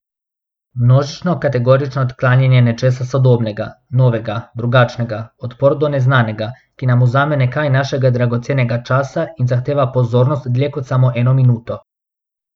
Množično kategorično odklanjanje nečesa sodobnega, novega, drugačnega, odpor do neznanega, ki nam vzame nekaj našega dragocenega časa in zahteva pozornost dlje kot samo eno minuto.